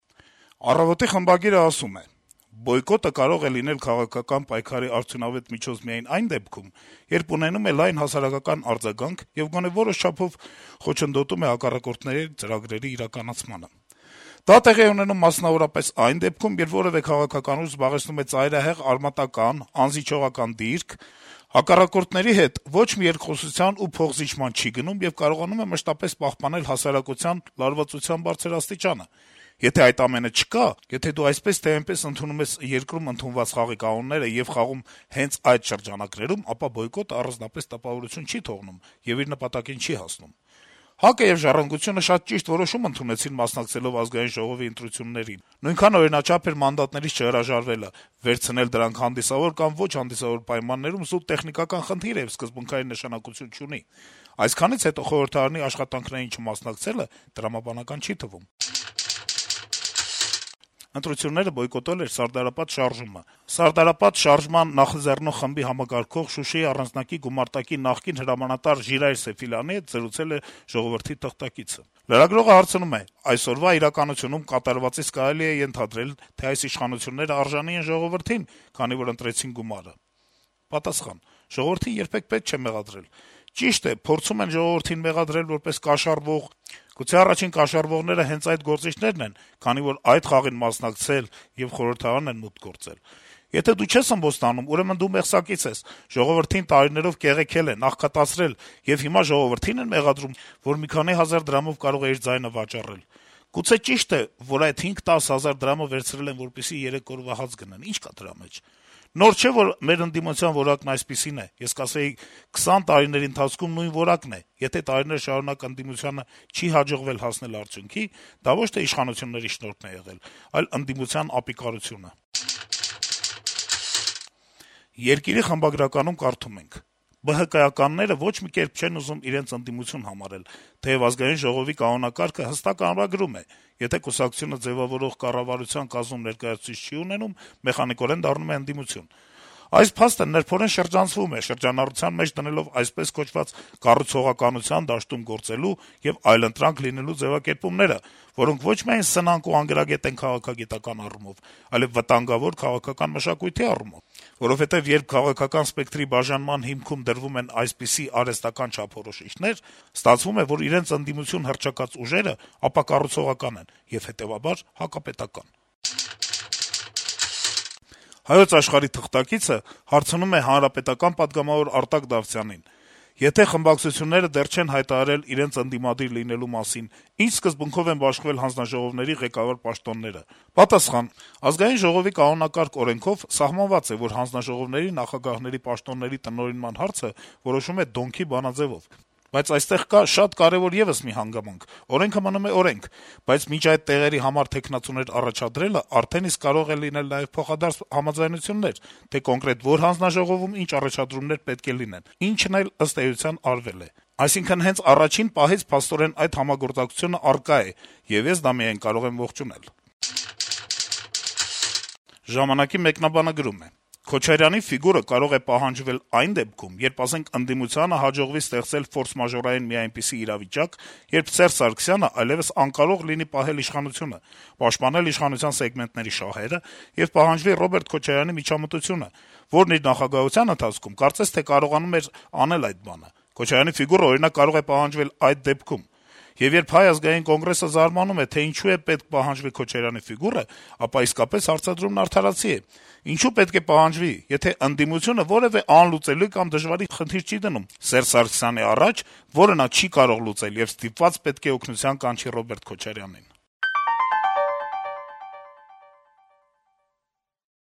«Առավոտ»-ի խմբագիրը գրում է. -« Բոյկոտը կարող է լինել քաղաքական պայքարի արդյունավետ միջոց միայն այն դեպքում, երբ ունենում է լայն հասարակական արձագանք եւ գոնե որոշ չափով խոչընդոտում է հակառակորդների ծրագրերի իրագործմանը: Դա տեղի է ունենում, մասնավորապես, այն դեպքերում, երբ որեւէ քաղաքական ուժ զբաղեցնում է ծայրահեղ արմատական, անզիջողական դիրք, հակառակորդների հետ ոչ մի երկխոսությունների ու փոխզիջումների չի գնում եւ կարողանում է մշտապես պահպանել հասարակության լարվածության բարձր աստիճանը: Եթե այդ ամենը չկա, եթե դու այսպես թե այնպես ընդունում ես երկրում ընդունված խաղի կանոնները եւ խաղում ես հենց այդ շրջանակներում, ապա բոյկոտն առանձնապես տպավորություն չի թողնում եւ իր նպատակին չի հասնում: ՀԱԿ-ը եւ «Ժառանգությունը» շատ ճիշտ որոշում ընդունեցին՝ մասնակցելով Ազգային ժողովի ընտրություններին, նույնքան օրինաչափ էր մանդատներից չհրաժարվելը, վերցնել դրանք հանդիսավոր կամ ոչ հանդիսավոր պայմաններում զուտ տեխնիկական խնդիր է եւ սկզբունքային նշանակություն չունի: Այսքանից հետո խորհրդարանի աշխատանքներին չմասնակցելը տրամաբանական չի թվում»: Ընտրությունները բոյկոտել էր «Սարդարապատ» շարժումը, որի համակարգող, Շուշիի առանձնակի գումարտակի նախկին հրամանատար Ժիրայր Սեֆիլյանի հետ զրուցել է «Ժողովուրդ» թերթի թղթակիցը: Լրագրողը հարցնում է. - «Այսօրվա իրականությունում կատարվածից կարելի է ենթադրել, թե այս իշխանություններն արժանի են ժողովրդին, քանի որ ընտրեցին գումար»: Պատասխան. - «Ժողովրդին երբեք պետք չէ մեղադրել: Ճիշտ է, փորձում են ժողովրդին մեղադրել որպես կաշառվող: Գուցե առաջին կաշառվողները հենց այդ գործիչնե՞րն են, քանի որ այդ խաղին մասնակցել ու խորհրդարան են մուտք գործել: Եթե դու չես ըմբոստանում, ուրեմն դու մեղսակից ես: Ժողովրդին տարիներով կեղեքել են, աղքատացրել, եւ հիմա ժողովրդի՞ն են մեղադրում, որ մի քանի հազար դրամով կարող է իր ձայնը վաճառել: Գուցե ճիշտ է, որ այդ 5-10 հազար դրամը վերցրել են, որպեսզի երեք օրվա հաց գնեն… Նոր չէ, որ մեր ընդդիմության որակն այսպիսին է: Ես կասեի` 20 տարիների ընթացքում նույն որակն է: Եթե տարիներ շարունակ ընդդիմությանը չի հաջողվել հասնել արդյունքի, դա ոչ թե իշխանությունների շնորհքն է եղել, այլ ընդդիմության ապիկարությունը»: «Երկիր»-ի խմբագրականում կարդում ենք. - «ԲՀԿ-ականները ոչ մի կերպ չեն ուզում իրենց ընդդիմություն համարել, թեեւ ԱԺ կանոնակարգը հստակ ամրագրում է. եթե կուսակցությունը ձեւավորվող կառավարության կազմում ներկայացուցիչ չի ունենում, մեխանիկորեն դառնում է ընդդիմություն: Այս փաստը նրբորեն շրջանցվում է` շրջանառության մեջ դնելով, այսպես կոչված, «կառուցողականության դաշտում գործելու» եւ «այլընտրանք լինելու» ձեւակերպումները, որոնք ոչ միայն սնանկ ու անգրագետ են քաղաքագիտական առումով, այլեւ վտանգավոր` քաղաքական մշակույթի իմաստով: Որովհետեւ երբ քաղաքական սպեկտրի բաժանման հիմքում դրվում են այսպիսի արհեստական չափորոշիչներ, ստացվում է, որ իրենց ընդդիմություն հռչակած ուժերը ապակառուցողական են, հետեւաբար նաեւ` հակապետական»: «Հայոց Աշխարհ»-ի թղթակիցը հարցնում է պատգամավոր Արտակ Դավթյանին (ՀՀԿ). - «Եթե խմբակցությունները դեռ չեն հայտարարել իրենց ընդդիմադիր լինելու մասին, ի՞նչ սկզբունքով են բաշխվել հանձնաժողովների ղեկավար պաշտոնները»։ Պատասխան. - «ԱԺ կանոնակարգ-օրենքով սահմանված է, որ հանձնաժողովների նախագահների պաշտոնների տնօրինման հարցը որոշվում է Դոնքի բանաձեւով։ Բայց այստեղ կա շատ կարեւոր եւս մի հանգամանք. օրենքը մնում է օրենք, բայց մինչեւ այդ տեղերի համար թեկնածուներ առաջադրելը արդեն իսկ կարող են լինել նաեւ փոխադարձ համաձայնություններ, թե կոնկրետ որ հանձնաժողովում ինչ առաջադրումներ պետք է լինեն, ինչն էլ, ըստ էության, արվել է։ Այսինքն՝ հենց առաջին պահից փաստորեն այդ համագործակցությունը առկա էր, եւ ես դա միայն կարող եմ ողջունել»։ «Ժամանակ»-ի մեկնաբանը գրում է. - «Քոչարյանի ֆիգուրը կարող է պահանջվել այն դեպքում, երբ, ասենք, ընդդիմությանը հաջողվի ստեղծել ֆորսմաժորային մի այնպիսի իրավիճակ, երբ Սերժ Սարգսյանն այլեւս անկարող լինի պահել իշխանությունը, պաշտպանել իշխանության սեգմենտների շահերը, եւ պահանջվի Ռոբերտ Քոչարյանի միջամտությունը, որն իր նախագահության ընթացքում, կարծես թե, կարողանում էր անել այդ բանը: Եվ երբ Հայ ազգային կոնգրեսը զարմանում է, թե ինչու պետք է պահանջվի Քոչարյանի ֆիգուրը, ապա իսկապես հարցադրումն արդարացի է. ինչո՞ւ պետք է պահանջվի` եթե ընդդիմությունը որեւէ անլուծելի կամ դժվարին խնդիր չի դնում Սերժ Սարգսյանի առաջ, որը նա չի կարող լուծել եւ ստիպված պետք է օգնության կանչի Ռոբերտ Քոչարյանին»: